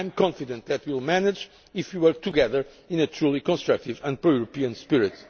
I am confident that we will manage this if we work together in a truly constructive and pro European spirit.